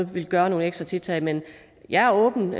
ville gøre nogle ekstra tiltag men jeg er åben